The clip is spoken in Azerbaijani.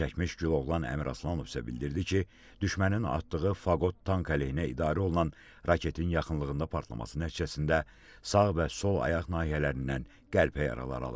Zərər çəkmiş Güloğlan Həmraslanov isə bildirdi ki, düşmənin atdığı faqot tank əleyhinə idarə olunan raketin yaxınlığında partlaması nəticəsində sağ və sol ayaq nahiyələrindən qəlpə yaraları alıb.